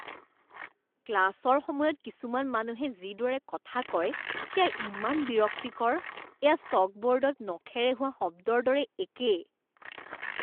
ক্লাছৰ সময়ত কিছুমান মানুহে যিদৰে কথা কয় সেয়া ইমান বিৰক্তিকৰ, এয়া চকবোৰ্ডত নখেৰে হোৱা শব্দৰ দৰে একে।